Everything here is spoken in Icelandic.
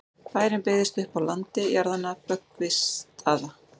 bærinn byggðist upp á landi jarðanna böggvisstaða